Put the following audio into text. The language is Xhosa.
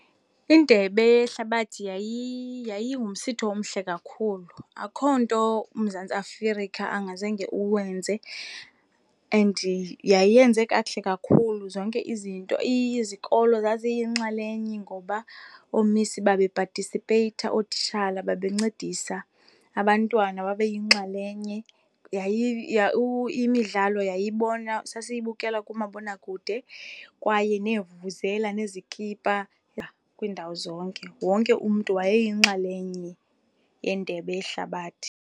Indebe yehlabathi yayingumsitho omhle kakhulu, akukho nto uMzantsi Afirika angazange uwenze and yayenze kakuhle kakhulu zonke izinto. Izikolo zaziyinxalenye ngoba oomisi babepatisipeyitha, ootitshala babencedisa, abantwana babeyinxalenye. Imidlalo yayibona, sasiyibukela kumabowakude kwaye neevuvuzela nezikipa, yha. Kwiindawo zonke, wonke umntu wayeyinxalenye yendebe yehlabathi.